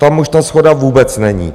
Tam už ta shoda vůbec není.